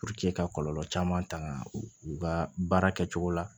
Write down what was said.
ka kɔlɔlɔ caman taŋaa u ka baara kɛcogo la